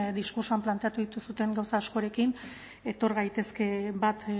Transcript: diskurtsoan planteatu dituzuen gauza askorekin etor gaitezke bat